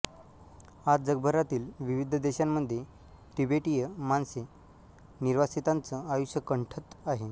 आज जगभरातील विविध देशांमध्ये तिबेटीय माणसे निर्वासितांचं आयुष्य कंठत आहे